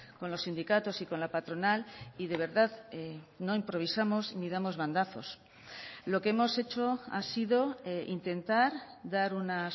con los sindicatos y con la patronal y de verdad no improvisamos ni damos bandazos lo que hemos hecho ha sido intentar dar una